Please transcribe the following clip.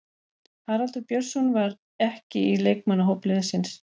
Haraldur Björnsson var ekki í leikmannahóp liðsins.